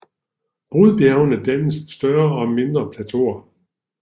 Brudbjergene danner større og mindre plateauer